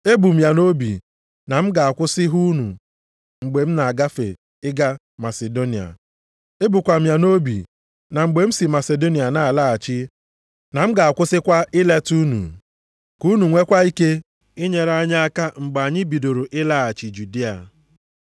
Ebu m ya nʼobi na m ga-akwụsị hụ unu mgbe m na-agafe ịga Masidonia. Ebukwa m ya nʼobi m na mgbe m si Masidonia na-alaghachi na m ga-akwụsịkwa ileta unu, ka unu nweekwa ike inyere anyị aka mgbe anyị bidoro ịlaghachi Judịa.